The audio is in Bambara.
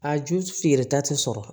A ju feereta tɛ sɔrɔ